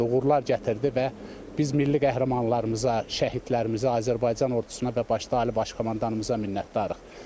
Uğurlar gətirdi və biz milli qəhrəmanlarımıza, şəhidlərimizə, Azərbaycan ordusuna və başda Ali Baş Komandanımıza minnətdarıq.